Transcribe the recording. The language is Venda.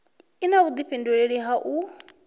i na vhudifhinduleli ha u